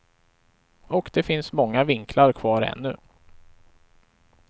Och det finns många vinklar kvar ännu.